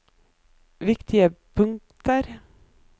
viktige punkter